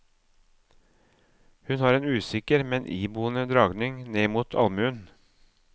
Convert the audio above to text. Hun har en usikker, men iboende dragning ned mot almuen.